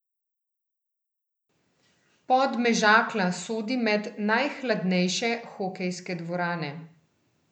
Podmežakla sodi med najhladnejše hokejske dvorane.